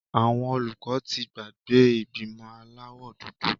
Àwọn olùkọ́ ti gbàgbé ìgbìmọ̀ aláwọ̀ dúdú.